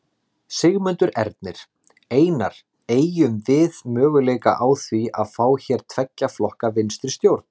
Sigmundur Ernir: Einar, eygjum við möguleika á því að fá hér tveggja flokka vinstristjórn?